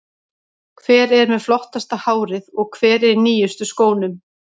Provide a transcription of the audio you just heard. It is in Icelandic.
Hver er með flottasta hárið og hver er í nýjustu skónum?